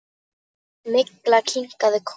Milla kinkaði kolli.